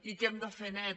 i que hem de fer net